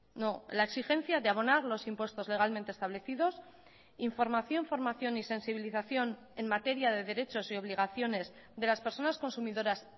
no la exigencia de abonar los impuestos legalmente establecidos información formación y sensibilización en materia de derechos y obligaciones de las personas consumidoras